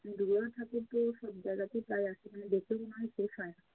ঠাকুর পো সব জায়গাতে প্রায় একরকম দেখতে মনে হয় শেষ হয়।